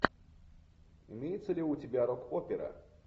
имеется ли у тебя рок опера